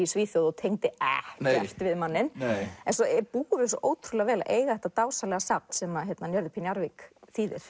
Svíþjóð og tengdi ekkert við manninn en svo búum við svo ótrúlega vel að eiga þetta dásamlega safn sem Njörður p Njarðvík þýðir